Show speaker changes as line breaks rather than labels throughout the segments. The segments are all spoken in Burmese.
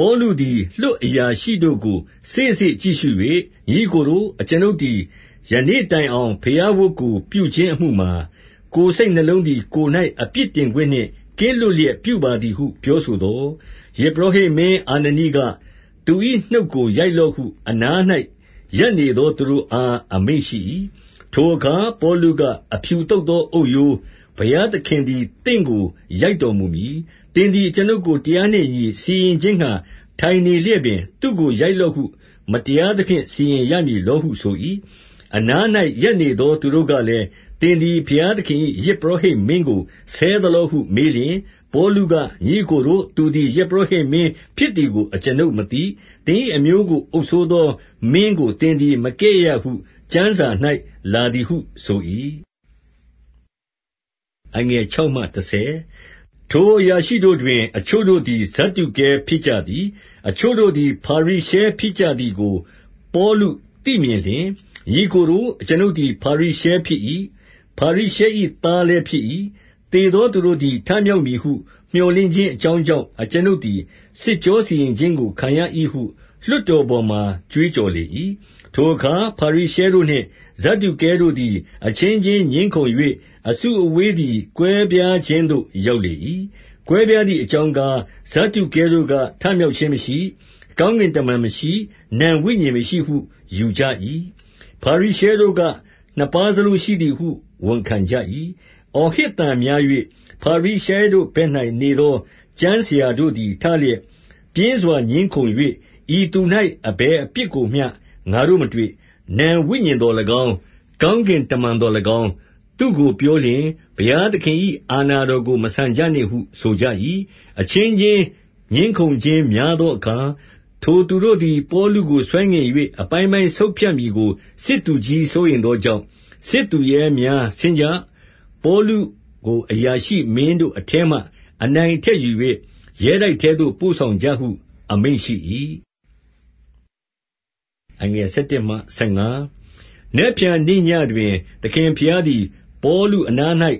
ပေါလုသည် လွှတ်အရာရှိတို့ကို စေ့စေ့ကြည့်ရှု၍၊ ညီအစ်ကိုတို့၊ အကျွန်ုပ်သည် ယနေ့တိုင်အောင် ဘုရားဝတ်ကို ပြုခြင်းအမှုမှာ၊ ကိုယ်စိတ်နှလုံးသည် ကိုယ်၌ အပြစ်တင်ခွင့်နှင့်ကင်းလွတ်လျက် ပြုပါသည်ဟု ပြောဆိုသော်၊ 2 ယဇ်ပုရောဟိတ်မင်း အာနနိက၊ သူ၏နှုတ်ကို ရိုက်လော့ဟု အနား၌ ရပ်နေသောသူတို့အား အမိန့်ရှိ၏။ 3 ထိုအခါပေါလုက၊ အဖြူသုတ်သောအုတ်ရိုး၊ ဘုရားသခင်သည် သင့်ကိုရိုက်တော်မူမည်။ သင်သည် အကျွန်ုပ်ကို တရားနှင့်အညီ စီရင်ခြင်းငှါ ထိုင်နေလျက်ပင်၊ သူ့ကိုရိုက်လော့ဟု မတရားသဖြင့် စီရင်ရမည်လော ဟုဆို၏။ 4 အနား၌ရပ်နေသောသူတို့ကလည်း၊ သင်သည် ဘုရားသခင်၏ ယဇ်ပုရောဟိတ်မင်းကိုဆဲသလောဟု မေးလျှင်၊ 5 ပေါလုက၊ ညီအစ်ကိုတို့၊ သူသည် ယဇ်ပုရောဟိတ်မင်းဖြစ်သည်ကိုအကျွန်ုပ်မသိ။ သင်၏အမျိုးကို အုပ်စိုးသော မင်းကိုသင်သည် မကဲ့ရဲ့ရဟု ကျမ်းစာ၌ လာသည်ဟုဆို၏။ 6 ထိုအရာရှိတို့တွင် အချို့တို့သည် ဇဒ္ဒုကဲဖြစ်ကြသည်၊ အချို့တို့သည် ဖာရိရှဲဖြစ်ကြသည်ကို ပေါလုသိမြင်လျှင်၊ ညီအစ်ကိုတို့၊ အကျွန်ုပ်သည် ဖာရိရှဲဖြစ်၏။ ဖာရိရှဲ၏သားလည်းဖြစ်၏။ သေသောသူတို့သည် ထမြောက်မည်ဟု မြော်လင့်ခြင်းအကြောင့်ကြောင့်၊ အကျွန်ုပ်သည် စစ်ကြောစီရင်ခြင်းကို ခံရ၏ဟု လွှတ်တော်ပေါ်မှာ ကြွေးကြော်လေ၏။ 7 ထိုအခါ ဖာရိရှဲတို့နှင့် ဖဒ္ဒုကဲတို့သည် အချင်း ချင်းငြင်းခုံ၍ အစုအဝေးသည် ကွဲပြားခြင်းသို့ ရောက် လေ၏။ 8 ကွဲပြားသည်အကြောင်းကား၊ ဇဒ္ဒုကဲတို့က၊ ထမြောက်ခြင်းမရှိ၊ ကောင်းကင်တမန်မရှိ၊ နံဝိညာဉ် မရှိဟုယူကြ၏။ ဖာရိရှဲတို့က၊ နှစ်ပါးစလုံးရှိသည်ဟု ဝန်ခံကြ၏။ 9 အော်ဟစ်သံများ၍၊ ဖာရိရှဲတို့ဘက်၌ နေသော ကျမ်းဆရာတို့သည် ထလျက်ပြင်းစွာငြင်းခုံ၍၊ ဤသူ၌ အဘယ်အပြစ်ကိုမျှ ငါတို့မတွေ့။ နံဝိညာဉ်သော်၎င်း၊ ကောင်းကင်တမန်သော်၎င်း သူ့ကိုပြောလျှင်၊ ဘုရား သခင်၏ အာဏာတော်ကို မဆန်ကြနှင့်ဟု ဆိုကြ၏။ 10 အချင်းချင်း ငြင်းခုံခြင်းများသောအခါ၊ ထိုသူတို့သည် ပေါလုကို ဆွဲငင်၍ အပိုင်းပိုင်းဆုတ်ဖြတ်မည်ကို စစ်သူကြီး စိုးရိမ်သောကြောင့်၊ စစ်သူရဲများ၊ ဆင်းကြ၊ ပေါလုကိုအရာရှိမင်းတို့အထဲမှ အနိုင်အထက်ယူ၍ ရဲတိုက်ထဲသို့ ပို့ဆောင်ကြဟု အမိန့်ရှိ၏။ 11 နက်ဖြန့်နေ့ညဉ့်တွင် သခင်ဘုရားသည် ပေါလု အနား၌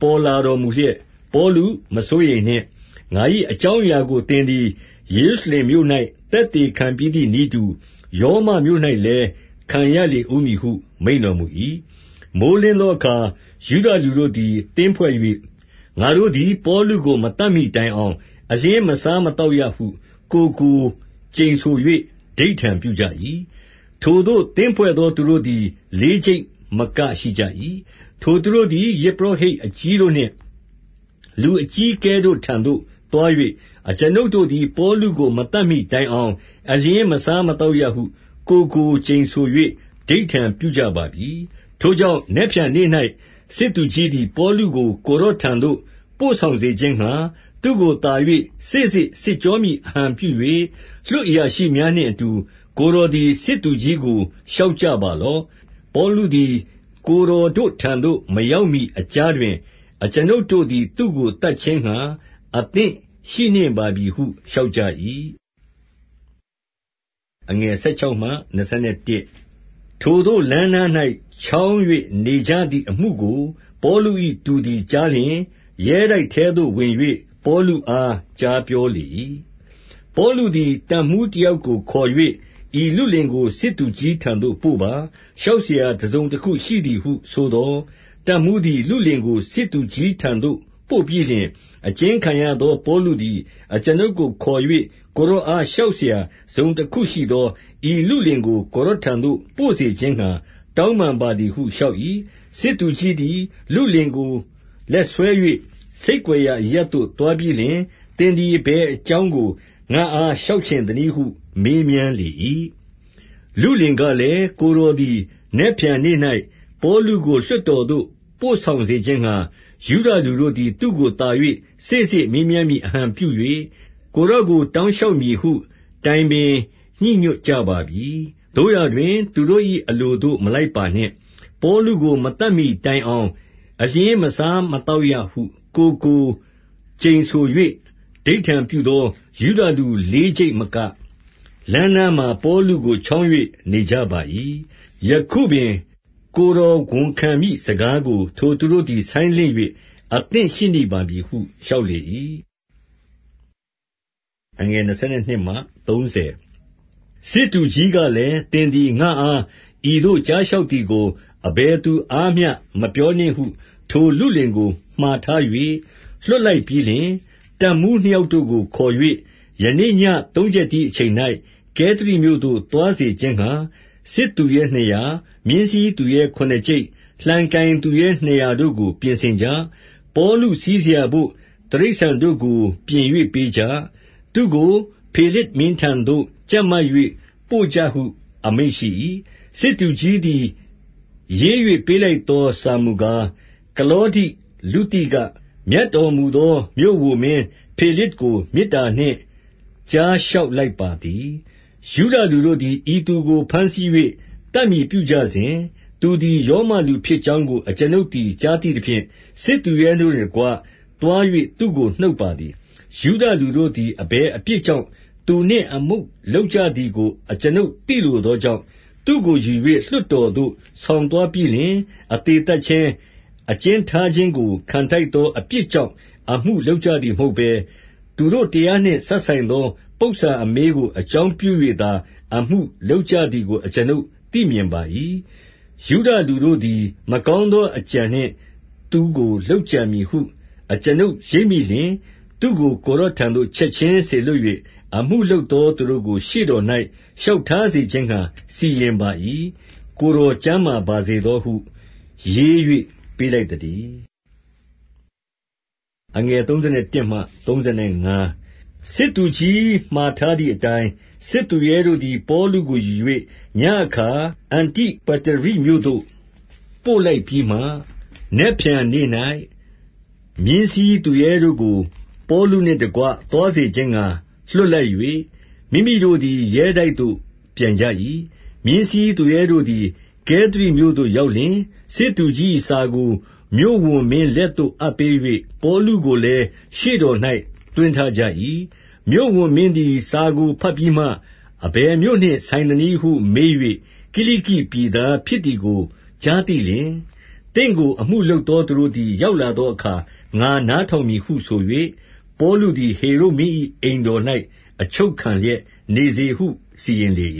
ပေါ်လာတော်မူလျက်၊ ပေါလု မစိုးရိမ်နှင့်။ ငါ၏ အကြောင်းအရာကို သင်သည် ယေရုရှလင်မြို့၌ သက်သေခံပြီးသည်နည်းတူ၊ ရောမမြို့၌ လည်းခံရလေ ဦးမည်ဟု မိန့်တော်မူ၏။ 12 မိုဃ်းလင်းသောအခါ ယုဒလူတို့သည် သင်းဖွဲ့၍၊ ငါတို့သည် ပေါလုကိုမသတ်မှီတိုင်အောင် အလျှင်းမစား မသောက်ရဟု ကိုယ်ကိုကျိန်ဆို၍ ဓိဋ္ဌာန်ပြုကြ၏။ 13 ထိုသို့သင်းဖွဲ့သော သူတို့သည် လေးကျိပ်မက ရှိကြ၏။ 14 ထိုသူတို့သည် ယဇ်ပုရောဟိတ်အကြီးတို့နှင့် လူအကြီးအကဲတို့ ထံသို့သွား၍၊ အကျွန်ုပ်တို့သည် ပေါလု ကိုမသတ်မှီတိုင်အောင် အလျှင်းမစားမသောက်ရဟု ကိုယ်ကိုကျိန်ဆို၍ ဓိဋ္ဌာန်ပြုကြပါပြီ။ 15 ထိုကြောင့်၊ နက်ဖြန့်နေ့၌ စစ်သူကြီးသည် ပေါလုကို ကိုယ်တော်တို့ထံသို့ ပို့ဆောင်စေခြင်းငှါ၊ သူ့ကို သာ၍ စေ့စေ့စစ်ကြောမည်အဟန်ပြု၍၊ လွှတ်အရာရှိများနှင့်အတူ ကိုယ်တော်တို့သည် စစ်သူကြီးကို လျှောက်ကြပါလော့။ ပေါလုသည် ကိုယ်တော်တို့ထံသို့ မရောက်မှီအကြားတွင် အကျွန်ုပ်တို့သည် သူ့ကိုသတ်ခြင်းငှါ အသင့်ရှိနှင့်ပါပြီဟု လျှောက်ကြ၏။ 16 ထိုသို့လမ်းနား၌ ချောင်း၍နေကြသည်အမှုကို ပေါလု၏ တူသည်ကြားလျှင်၊ ရဲတိုက်ထဲသို့ဝင်၍ ပေါလု အားကြားပြောလေ၏။ 17 ပေါလုသည်တပ်မှူးတယောက်ကို ခေါ်၍၊ ဤလုလင်ကို စစ်သူကြီးထံသို့ပို့ပါ။ လျှောက်စရာတစုံတခု ရှိသည်ဟုဆိုသော်၊ 18 တပ်မှူးသည် လုလင်ကို စစ်သူကြီးထံသို့ ပို့ပြီးလျှင်၊ အကျဉ်းခံရသော ပေါလုသည် အကျွန်ုပ်ကို ခေါ်၍၊ ကိုယ်တော်အားလျှောက်စရာ တစုံတခုကရှိသော ဤလုလင်ကိုကိုယ်တော်ထံသို့ ပို့စေခြင်းငှါ တောင်းပန် ပါသည်ဟုလျှောက်၏။ 19 စစ်သူကြီးသည် လုလင်ကိုလက်ဆွဲ၍ ဆိတ်ကွယ်ရာအရပ်သို့သွားပြီးလျှင်၊ သင်သည်အဘယ် အကြောင်း ကို ငါ့အားလျှောက်ချင်သနည်းဟု မေးမြန်းလေ၏။ 20 လုလင်ကလည်း၊ ကိုယ်တော်သည် နက်ဖြန်နေ့၌ ပေါလုကို လွှတ်တော်သို့ပို့ဆောင်စေခြင်းငှါ၊ ယုဒလူတို့ သည် သူ့ကိုသာ၍ စေ့စေ့မေးမြန်းမည်အဟန်ပြု၍၊ ကိုယ်တော်ကို တောင်းလျှောက်မည်ဟု တိုင်ပင် ညှိညွတ် ကြပါပြီ။ 21 သို့ရာတွင်သူတို့၏ အလိုသို့မလိုက်ပါနှင့်။ ပေါလု ကိုမသတ်မှီတိုင်အောင် အလျှင်းမစားမသောက်ရဟု ကိုယ်ကိုကျိန်ဆို၍ ဓိဋ္ဌာန်ပြုသော ယုဒလူလေးကျိပ်မက၊ လမ်းနား၌ ပေါလုကိုချောင်း၍ နေကြပါ၏။ ယခုပင် ကိုယ်တော်ဝန်ခံမည့်စကားကို ထိုသူတို့သည် ဆိုင်းလင့်၍ အသင့်ရှိနှင့်ပါပြီဟုလျှောက်လေ၏။ 22 စစ်သူကြီးကလည်း၊ သင်သည်ငါ့အား ဤသို့ ကြားလျှောက်သည်ကို အဘယ်သူအားမျှမပြောနှင့်ဟု ထိုလုလင်ကိုမှာထား၍ လွှတ်လိုက်ပြီးလျှင်၊ 23 တပ်မှူးနှစ်ယောက်တို့ကိုခေါ်၍၊ ယနေ့ညဉ့် သုံးချက်တီးအချိန်၌ ကဲသရိမြို့သို့သွားစေခြင်းငှါ စစ်သူရဲ နှစ်ရာ၊ မြင်းစီးသူရဲခုနစ်ကျိပ်၊ လှံကိုင်သူရဲနှစ်ရာတို့ကို ပြင်ဆင်ကြ။ 24 ပေါလုစီးစရာဘို့ တိရစ္ဆာန်တို့ကိုပြင်၍ပေးကြ။ သူ့ကို ဖေလဇ်မင်းထံသို့ကြပ်မ၍ ပို့ကြဟုအမိန့်ရှိ၏။ 25 စစ်သူကြီးသည် ရေး၍ပေးလိုက်သော စာဟူ မူကား၊ 26 ကလောဒိလုသိက၊ မြတ်တော်မူသော မြို့ဝန်မင်းဖေလဇ်ကို မေတ္တာနှင့်ကြားလျက်လိုက်ပါသည်။ 27 ယုဒလူတို့သည် ဤသူကိုဘမ်းဆီး၍ သတ်မည်ပြုကြစဉ်၊ သူသည်ရောမလူဖြစ်ကြောင်းကို အကျွန်ုပ်သည် ကြားသိသဖြင့်၊ စစ်သူရဲတို့နှင့်တကွ သွား၍သူ့ကို နှုတ်ပါ သည်။ 28 ယုဒလူတို့သည် အဘယ်အပြစ်ကြောင့်သူနှင့် အမှုလုပ်ကြသည်ကို အကျွန်ုပ်သိလိုသောကြောင့်၊ သူ့ကို ယူ၍လွှတ်တော်သို့ ဆောင်သွားပြီးလျှင်၊ 29 အသေသတ်ခြင်း၊ အကျဉ်းထားခြင်းကို ခံထိုက်သော အပြစ်ကြောင့် အမှုလုပ်ကြသည်မဟုတ်ဘဲ၊ သူတို့တရားနှင့် စပ်ဆိုင်သော ပုစ္ဆာအမေးကို အကြောင်းပြု၍သာ အမှုလုပ်ကြသည်ကို အကျွန်ုပ်သိမြင်ပါ၏။ 30 ယုဒလူတို့သည် မကောင်းသောအကြံနှင့် သူ့ကိုလုပ်ကြံမည်ဟု အကျွန်ုရိပ်မိလျှင်၊ သူ့ကို ကိုယ်တော်ထံသို့ ချက်ခြင်းစေလွှတ်၍ အမှုလုပ်သောသူတို့ကို ရှေ့တော်၌ လျှောက်ထားစေခြင်းငှါ စီရင်ပါ၏။ ကိုယ်တော် ကျန်းမာ ပါစေသောဟု ရေး၍ပေးလိုက်သတည်း။ 31 စစ်သူကြီးမှာထားသည်အတိုင်း စစ်သူရဲတို့သည် ပေါလုကို ယူ၍၊ ညဉ့်အခါ အန္တိပတရိမြို့သို့ ပို့လိုက်ပြီးမှ၊ 32 နက်ဖြန်နေ့၌မြင်းစီးသူရဲတို့ကို ပေါလုနှင့်တကွ သွားစေခြင်းငှါ လွှတ်လိုက်၍ မိမိတို့သည် ရဲတိုက်သို့ ပြန်ကြ၏။ 33 မြင်းစီးသူရဲတို့သည် ကဲသရိမြို့သို့ရောက်လျှင်၊ စစ်သူကြီး၏ စာကိုမြို့ဝန်မင်းလက်သို့အပ်ပေး၍၊ ပေါလုကိုလည်း ရှေ့တော်၌ သွင်းထားကြ၏။ 34 မြို့ဝန်မင်းသည် စာကိုဘတ်ပြီးမှ၊ အဘယ်မြို့နှင့် ဆိုင်သနည်းဟု မေး၍၊ ကိလိကိပြည်သားဖြစ်သည်ကို ကြားသိလျှင်၊ 35 သင့်ကိုအမှုလုပ်သောသူတို့သည် ရောက်လာသောအခါ ငါနားထောင်မည်ဟု ဆို၍၊ ပေါလုသည် ဟေရုဒ်မင်း၏အိမ်တော်၌ အချုပ်ခံလျက်နေစေဟု စီရင်လေ